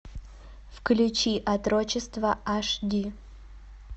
включи отрочество аш ди